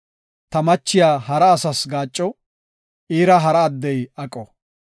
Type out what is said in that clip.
ta machiya hara asas gaacco; iira hara addey aqo.